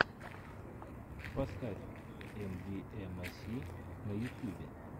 поставь эмвиэмэси на ютьюбе